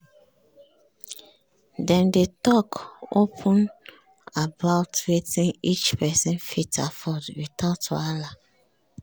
dem dey talk open about wetin each person fit afford without wahala